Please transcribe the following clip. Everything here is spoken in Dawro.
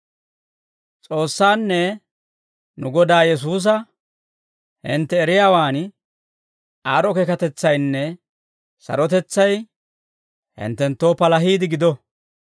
S'oossaanne nu Godaa Yesuusa hintte eriyaawan aad'd'o keekatetsaynne sarotetsay hinttenttoo palahiide gido.